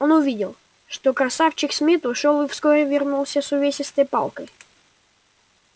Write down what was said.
он увидел что красавчик смит ушёл и вскоре вернулся с увесистой палкой